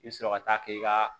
I bɛ sɔrɔ ka taa k'i ka